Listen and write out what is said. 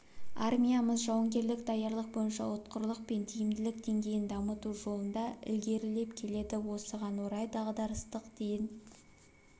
армиямыз жауынгерлік даярлық бойынша ұтқырлық пен тиімділік деңгейін дамыту жолында ілгерілеп келеді осыған орай дағдарыстық ден